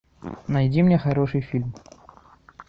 найди мне хороший фильм